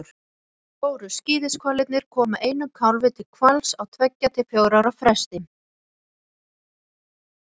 Stóru skíðishvalirnir koma einum kálfi til hvals á tveggja til fjögurra ára fresti.